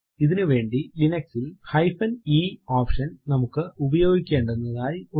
ഇതിനു വേണ്ടി ലിനക്സ് ൽ eഹൈഫെൻ ഇ ഓപ്ഷൻ നമുക്ക് ഉപയോഗിക്കെണ്ടുന്നതായി ഉണ്ട്